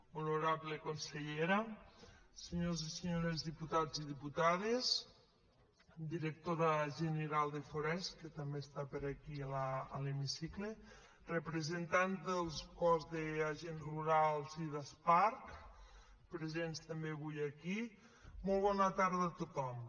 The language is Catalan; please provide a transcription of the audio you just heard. honorable consellera senyors i senyores diputats i diputades directora general de forests que també està per aquí a l’hemicicle representants del cos d’agents rurals i d’asparc presents també avui aquí molt bona tarda a tothom